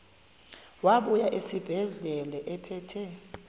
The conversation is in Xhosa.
wabuya esibedlela ephethe